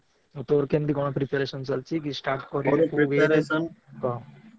ଆଉ ତୋର କେମିତି କଣ preparation ଚାଲଚି କି start କଲୁଣି କହ।